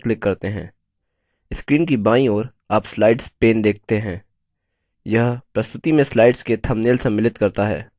screen की बाईं ओर आप slides pane देखते हैं यह प्रस्तुति में slides के थम्बनेल सम्मिलित करता है